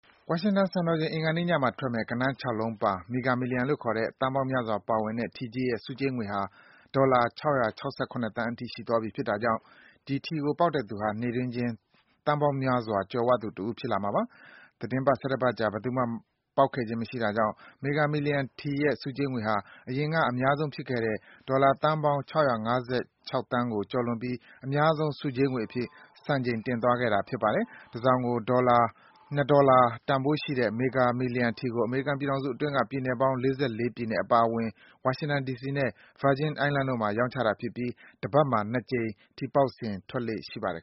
ဝါရှင်တန်စံတော်ချိန် အင်္ဂါနေ့ညမှာထွက်မယ့် ဂဏန်း ၆ လုံးပါ Mega Millions လို့ခေါ်တဲ့ သန်းပေါင်းများစွာ ပါဝင်တဲ့ ထီကြီးရဲ့ ဆုကြေးငွေဟာ ဒေါ်လာ ၆၆၇ သန်းအထိ ရှိသွားပြီ ဖြစ်တာကြောင့် ဒီထီကို ပေါက်တဲ့သူဟာ နေ့တွင်းချင်း သန်းပေါင်းများစွာ ကြွယ်ဝသူတဦး ဖြစ်သွားမှာပါ။ သီတင်းပတ် (၁၁) ပတ်ကြာ ဘယ်သူမှ ပေါက်ခဲ့ခြင်းမရှိတာကြောင့် Mega Millions ထီရဲ့ ဆုကြေးငွေဟာ အရင်က အများဆုံး ဖြစ်ခဲ့တဲ့ ဒေါ်လာ သန်းပေါင်း ၆၅၆ သန်းကို ကျော်လွန်ပြီး အများဆုံး ဆုကြေးငွေအဖြစ် စံချိန် တင်သွားခဲ့တာ ဖြစ်ပါတယ်။ တစောင်ကို ၂ ဒေါ်လာ တန်ဖိုးရှိတဲ့ ဒီ Mega Millions ထီကို အမေရိကန်ပြည်ထောင်စုအတွင်းက ပြည်နယ်ပေါင်း ၄၄ ပြည်နယ် အပါအဝင် ဝါရှင်တန် ဒီစီနဲ့ Virgin Island တို့မှာ ရောင်းချတာဖြစ်ပြီး တပတ်မှာ ၂ ကြိမ် ထီပေါက်စဉ် ထွက်လေ့ ရှိပါတယ်